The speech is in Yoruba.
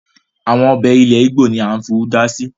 Àwọn ọbẹ̀ ilẹ̀ ìgbò ni à ń fi udá si